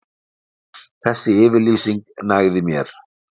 Þessi yfirlýsing nægði mér.